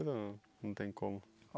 Ou não? Não tem como.